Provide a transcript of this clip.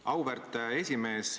Auväärt esimees!